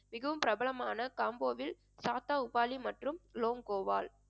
மிகவும் பிரபலமான காம்போவில் சாத்தாவுக்காலி மற்றும் லோங்கோவால்